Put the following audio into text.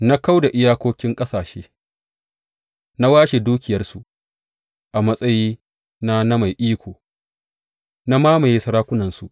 Na kau da iyakokin ƙasashe, na washe dukiyarsu; a matsayina na mai iko, na mamaye sarakunansu.